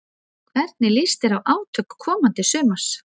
Hvernig líst þér á átök komandi sumars?